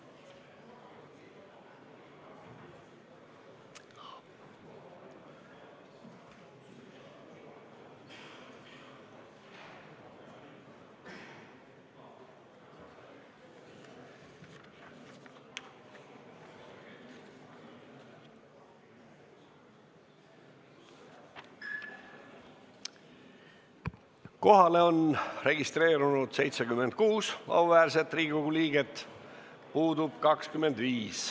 Kohaloleku kontroll Kohalolijaks on registreerunud 76 auväärset Riigikogu liiget, puudub 25.